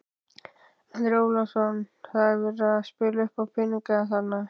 Andri Ólafsson: Það er verið að spila uppá peninga þarna?